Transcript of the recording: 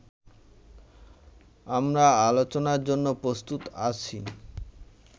আমরা আলোচনার জন্য প্রস্তুত আছি